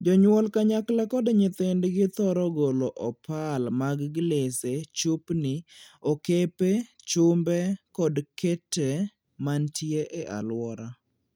Jonyuol kanyakla kod nyithindgi thoro golo opal mag glese, chupni, okepe, chumbe, kod kete mantie e aluora.